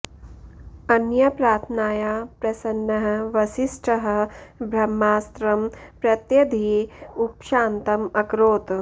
अनया प्रार्थनया प्रसन्नः वसिष्ठः ब्रह्मास्त्रं प्रत्यधीय उपशान्तम् अकरोत्